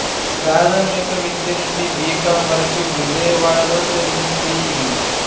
ప్రాథమిక విద్య నుండి బి కాం వరకు విజయవాడలో జరిగింది